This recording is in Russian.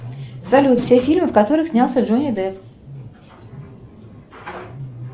салют все фильмы в которых снялся джонни депп